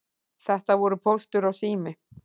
Þetta voru Póstur og Sími.